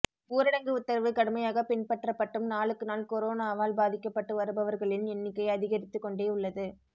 ஊரடங்கு உத்தரவு கடுமையாக பின்பற்றப்பட்டும் நாளுக்கு நாள் கொரோனாவால் பாதிக்கப்பட்டு வருபவர்களின் எண்ணிக்கை அதிகரித்து கொண்டே உள்ளது